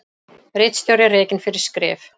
Ritstjóri rekinn fyrir skrif